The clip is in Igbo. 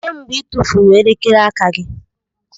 Kedu mgbe ị tụfuru elekere aka gị?